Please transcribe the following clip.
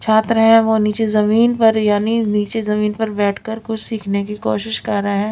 छात्र है वो नीचे जमीन पर यानी नीचे जमीन पर बैठकर कुछ सीखने की कोशिश कर रहे है।